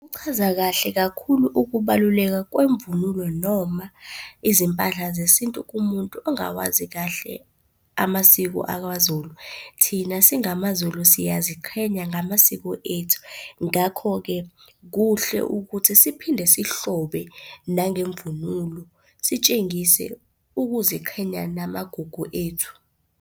Kuchaza kahle kakhulu ukubaluleka kwemvunulo noma izimpahla zesintu kumuntu ongawazi kahle amasiko akwaZulu. Thina singamaZulu siyaziqhenya ngamasiko ethu. Ngakho-ke, kuhle ukuthi siphinde sihlobe nangemvunulo, sitshengise ukuziqhenya namagugu ethu.